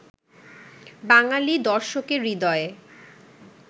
বাঙালি দর্শকের হৃদয়ে